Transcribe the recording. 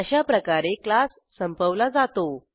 अशाप्रकारे क्लास संपवला जातो